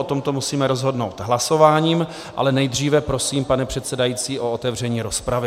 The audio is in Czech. O tomto musíme rozhodnout hlasováním, ale nejdříve prosím, pane předsedající, o otevření rozpravy.